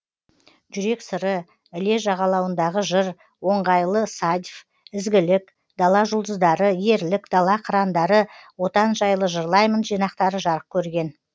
жүрек сыры іле жағалауындағы жыр оңғайлы садьф ізгілік дала жұлдыздары ерлік дала қыраңдары отан жайлы жырлаймын жинақтары жарық көрген